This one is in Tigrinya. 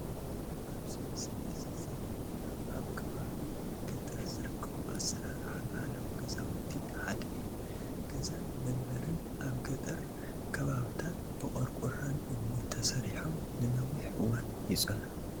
ኣብዚ ምስሊ እዚ ዘሪኤና ኣብ ከባቢ ገጠር ዝርከቡ ኣሰራርሓ ባህላዊ ገዛውቲ ሓደ እዩ፡፡ ገዛን መንበርን ኣብ ገጠር ከባብታት ብቆርቆሮን እምንን ተሰሪሖም ንነዊሕ እዋን ይፀንሑ፡፡